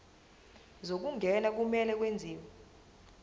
zokungena kumele kwenziwe